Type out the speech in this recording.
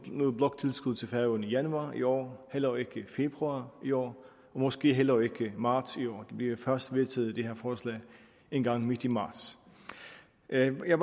noget bloktilskud til færøerne i januar i år heller ikke i februar i år og måske heller ikke i marts i år vi får først vedtaget det her forslag engang midt i marts jeg vil